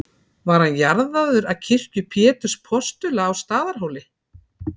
Var hann jarðaður að kirkju Péturs postula á Staðarhóli.